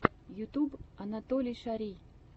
ютюб анатолий шарий